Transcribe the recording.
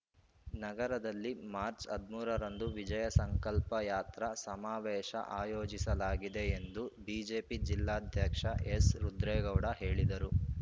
ನಗರದಲ್ಲಿ ಮಾರ್ಚ್ ಹದಿಮೂರ ರಂದು ವಿಜಯಸಂಕಲ್ಪ ಯಾತ್ರಾ ಸಮಾವೇಶ ಆಯೋಜಿಸಲಾಗಿದೆ ಎಂದು ಬಿಜೆಪಿ ಜಿಲ್ಲಾಧ್ಯಕ್ಷ ಎಸ್‌ರುದ್ರೇಗೌಡ ಹೇಳಿದರು